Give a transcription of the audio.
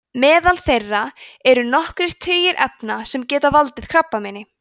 meðal þeirra eru nokkrir tugir efna sem geta valdið krabbameini